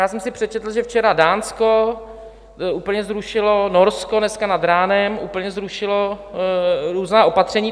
Já jsem si přečetl, že včera Dánsko úplně zrušilo, Norsko dneska nad ránem úplně zrušilo různá opatření.